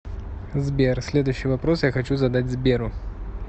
сбер следующий вопрос я хочу задать сберу